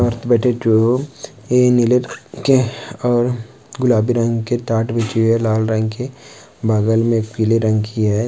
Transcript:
औरत बैठी ये नीले रंग के और गुलाबी रंग की ठाट बिछी है लाल रंग की बगल में पीले रंग की है।